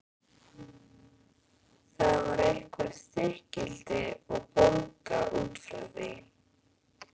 Þar var eitthvert þykkildi og bólga út frá því.